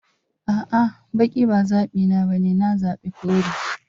A'a, baki ba zabina bane, na zabi kore.